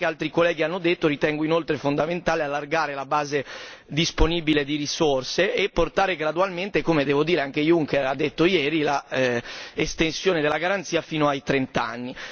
Come anche altri colleghi hanno detto, ritengo inoltre fondamentale allargare la base disponibile di risorse e portare gradualmente come devo dire anche Juncker ha detto ieri l'estensione della garanzia fino ai trent'anni.